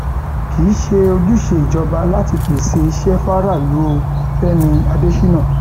kì í ṣe ojúṣe ìjọba láti pèsè iṣẹ faraàlú o fẹmi adésínà